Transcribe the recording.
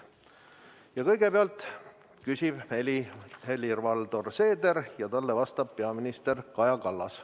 Ja kõigepealt küsib Helir-Valdor Seeder ja talle vastab peaminister Kaja Kallas.